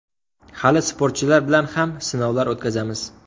Hali sportchilar bilan ham sinovlar o‘tkazamiz.